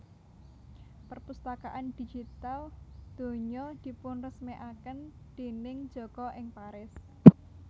Perpustakaan Digital Donya dipunresmèkaken déning Joko ing Paris